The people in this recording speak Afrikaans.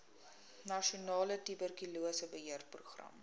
nasionale tuberkulose beheerprogram